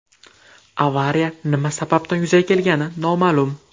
Avariya nima sababdan yuzaga kelgani noma’lum.